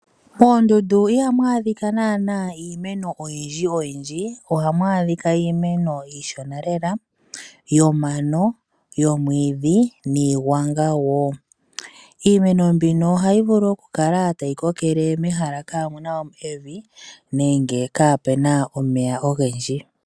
Moondundu ihamu adhika naana iimeno oyindji, ohamu adhika iimeno iishona lela yomano, yomwiidhi niigwanga wo. Iimeno mbino ohayi vulu okukala tayi kokele mehala kamu na evi nenge kaapu na omeya ogendji.